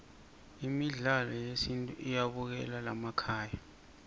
midlalo yesintfu iyabukelwa laykhaya